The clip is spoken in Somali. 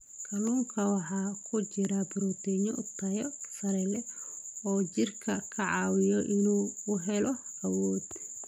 Kalluunka waxaa ku jira borotiinno tayo sare leh oo jirka ka caawiya in uu helo awood.